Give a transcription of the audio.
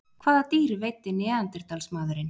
Hvaða dýr veiddi neanderdalsmaðurinn?